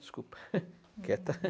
Desculpa, quieta.